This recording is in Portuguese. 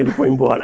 Ele foi embora.